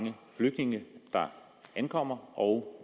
mange flygtninge der ankommer og